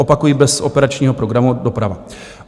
Opakuji, bez Operačního programu Doprava.